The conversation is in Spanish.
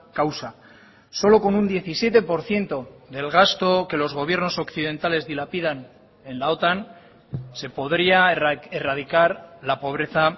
causa solo con un diecisiete por ciento del gasto que los gobiernos occidentales dilapidan en la otan se podría erradicar la pobreza